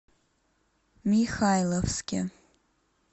михайловске